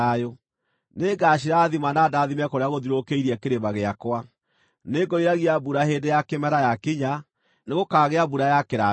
Nĩngacirathima na ndaathime kũrĩa gũthiũrũkĩirie kĩrĩma gĩakwa. Nĩngoiragia mbura hĩndĩ ya kĩmera yakinya; nĩgũkaagĩa mbura ya kĩrathimo.